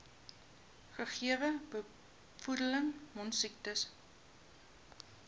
gegewe bevolking mondsiektes